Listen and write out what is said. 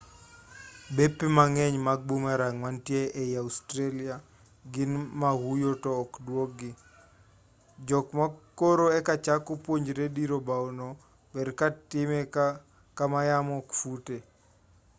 bepe mang'eny mag boomerang manitie ei australia gin ma huyo to ok dwogi jok ma koro e kachako puonjore diro bao no ber ka time kama yamo ok fute